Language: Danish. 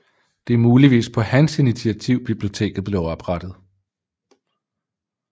Det er muligvis på hans initiativ biblioteket blev oprettet